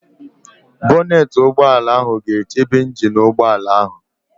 Bonetị ụgbọala ga-echebe ịnjin nke ụgbọala ahụ